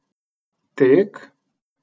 Tek?